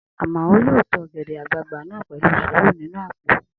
Amao yóò to ọ̀gẹ̀dẹ̀ àgbagbà náà pẹ̀lú sùúrù sínu àpò